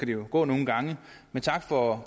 det gå nogle gange men tak for